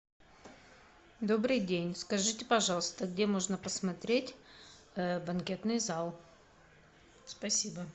добрый день скажите пожалуйста где можно посмотреть банкетный зал спасибо